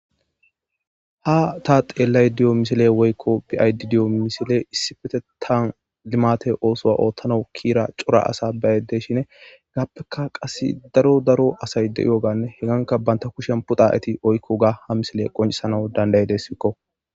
ha ta xeellay diyo misile woykko bi7aydi diyo misile issifetetan limate oosoa oothtana kiira cora asa baayydeshine gaappeka qas daro daro asay de7ioganne heganka banta kushen puda eti oykko ga ha misile qoncisana dandaydessikko